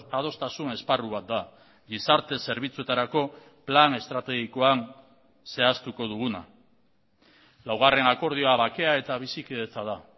adostasun esparru bat da gizarte zerbitzuetarako plan estrategikoan zehaztuko duguna laugarren akordioa bakea eta bizikidetza da